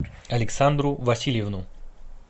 александру васильевну